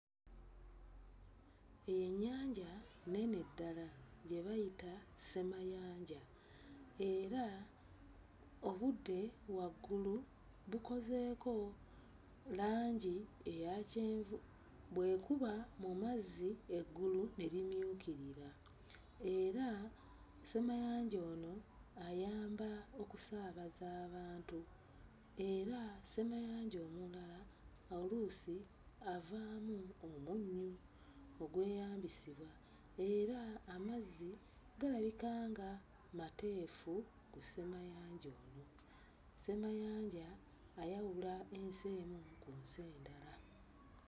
Ennyanja nnene ddala gye bayita ssemayanja era obudde waggulu bukozeeko langi eya kyenvu. Bwekuba mu mazzi eggulu ne limyukirira, era ssemayanja ono ayamba okusaabaza abantu, era ssemayanja omulala oluusi avaamu omunnyo ogweyambisibwa, era amazzi galabika nga mateefu ku ssemayanja ono. Ssemayanja ono ayawula ensi emu ku nsi endala.